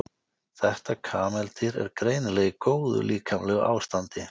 þetta kameldýr er greinilega í góðu líkamlegu ástandi